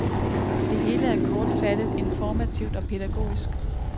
Det hele er kortfattet, informativt og pædagogisk.